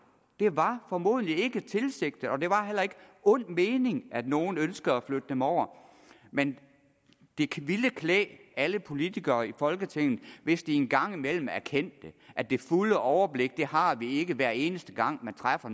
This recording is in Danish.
det var formodentlig ikke tilsigtet og det var heller ikke af ond mening at nogle ønskede at flytte dem over men det ville klæde alle politikere i folketinget hvis de en gang imellem erkendte at det fulde overblik har vi ikke hver eneste gang vi træffer